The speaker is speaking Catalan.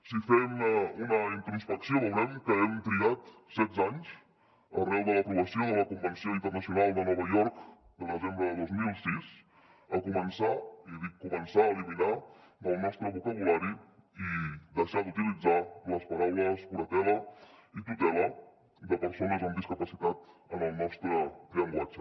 si fem una introspecció veurem que hem trigat setze anys arran de l’aprovació de la convenció internacional de nova york de desembre de dos mil sis a començar i dic començar a eliminar del nostre vocabulari i deixar d’utilitzar les paraules curatela i tutela de persones amb discapacitat en el nostre llenguatge